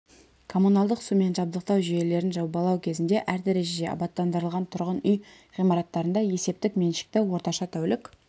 коммуналдық сумен жабдықтау жүйелерін жобалау кезінде әр дәрежеде абаттандырылған тұрғын үй ғимараттарында есептік меншікті орташа тәулік